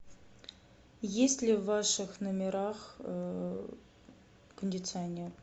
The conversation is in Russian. есть ли в ваших номерах кондиционер